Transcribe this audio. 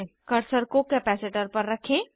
cursor को capacitor पर रखें